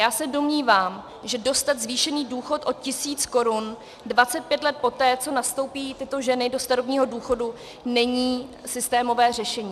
Já se domnívám, že dostat zvýšený důchod o tisíc korun 25 let poté, co nastoupí tyto ženy do starobního důchodu, není systémové řešení.